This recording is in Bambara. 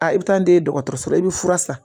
i bɛ taa n'i ye dɔgɔtɔrɔso la i bɛ fura san